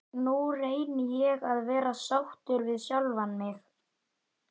Nú reyni ég að vera sáttur við sjálfan mig.